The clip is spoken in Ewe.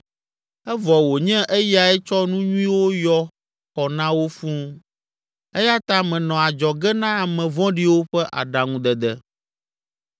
Evɔ wònye eyae tsɔ nu nyuiwo yɔ xɔ na wo fũu, eya ta menɔ adzɔge na ame vɔ̃ɖiwo ƒe aɖaŋudede.